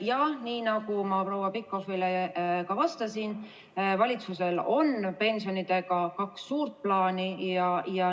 Jah, nii nagu ma ka proua Pikhofile vastates ütlesin, valitsusel on pensionidega kaks suurt plaani.